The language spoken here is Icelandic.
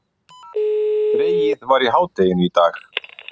Dregið var í hádeginu í dag